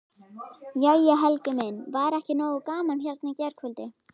Jæja Helgi minn, var ekki nógu gaman hérna í gærkvöldi?